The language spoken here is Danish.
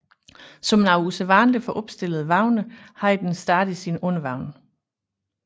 Som noget usædvanligt for opstillede vogne havde den stadig sin undervogn